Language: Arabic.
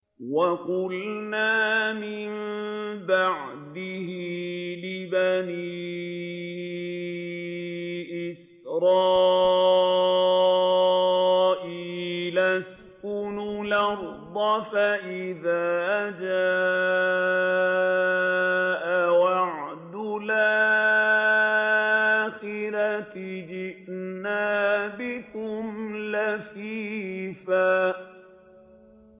وَقُلْنَا مِن بَعْدِهِ لِبَنِي إِسْرَائِيلَ اسْكُنُوا الْأَرْضَ فَإِذَا جَاءَ وَعْدُ الْآخِرَةِ جِئْنَا بِكُمْ لَفِيفًا